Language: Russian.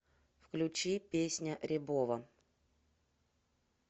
включи песня рябого